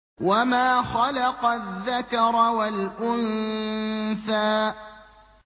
وَمَا خَلَقَ الذَّكَرَ وَالْأُنثَىٰ